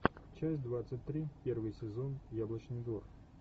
часть двадцать три первый сезон яблочный двор